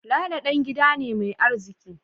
Lalo dan gida ne mai arziki